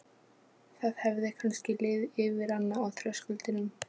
Það hefði kannski liðið yfir hana á þröskuldinum.